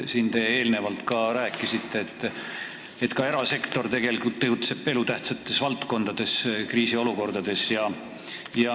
Te eelnevalt rääkisite erasektori osast elutähtsates valdkondades kriisiolukorra puhul.